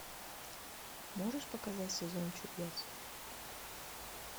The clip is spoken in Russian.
можешь показать сезон чудес